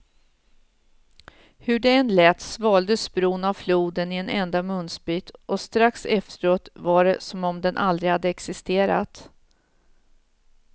Hur det än lät svaldes bron av floden i en enda munsbit, och strax efteråt var det som om den aldrig hade existerat.